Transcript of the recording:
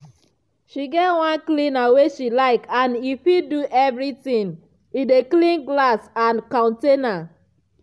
she get one cleaner wey she like and e fit do everything—e dey clean glass and counter.